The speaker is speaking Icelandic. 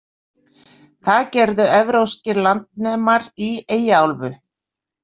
Það gerðu Evrópskir landnemar í Eyjaálfu.